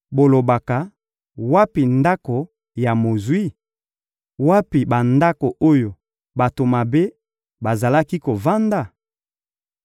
bolobaka: ‹Wapi ndako ya mozwi? Wapi bandako oyo bato mabe bazalaki kovanda?›